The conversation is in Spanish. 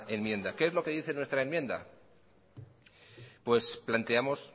enmienda qué es lo que dice nuestra enmienda pues planteamos